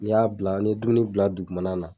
N'ai y'a bila an me dumuni bila dugumala la